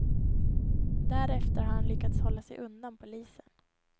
Därefter har han lyckats hålla sig undan polisen.